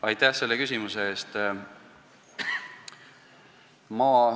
Aitäh selle küsimuse eest!